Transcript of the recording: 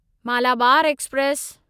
Malabar express